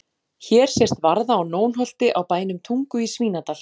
Hér sést varða á Nónholti á bænum Tungu í Svínadal.